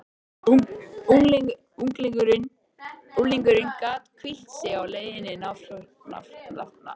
Unglingurinn gat hvílt sig á leiðinlegri naflaskoðun.